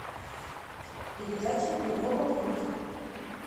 передача европа плюс